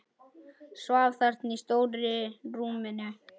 Svaf þarna í stóru rúminu.